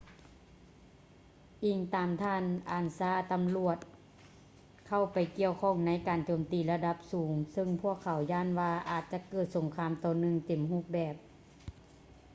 ອີງຕາມທ່ານ ອານຊາ ansa ຕຳຫຼວດເຂົ້າໄປກ່ຽວຂ້ອງໃນການໂຈມຕີລະດັບສູງ ຊຶ່ງພວກເຂົາຢ້ານວ່າອາດຈະເກີດສົງຄາມຕໍ່ເນື່ອງເຕັມຮູບແບບ